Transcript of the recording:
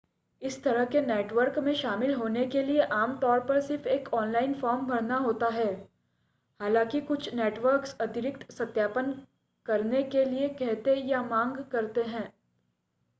इस तरह के नेटवर्क में शामिल होने के लिए आमतौर पर सिर्फ एक ऑनलाइन फॉर्म भरना होता है हालांकि कुछ नेटवर्क अतिरिक्त सत्यापन करने के लिए कहते या मांग करते हैं